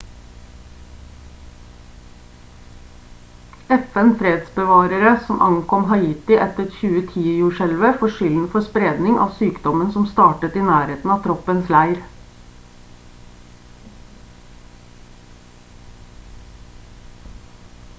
fn-fredsbevarere som ankom haiti etter 2010-jordskjelvet får skylden for spredning av sykdommen som startet i nærheten av troppens leir